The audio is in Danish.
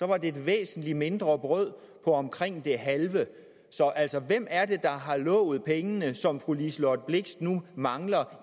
det et væsentlig mindre brød for omkring det halve så altså hvem er det der har lovet pengene som fru liselott blixt nu mangler